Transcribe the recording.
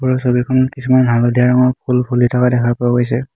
ওপৰৰ ছবিখনত কিছুমান হালধীয়া ৰঙৰ ফুল ফুলি থকা দেখা পোৱা গৈছে।